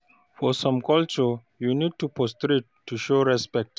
For some culture, you need to prostrate to show respect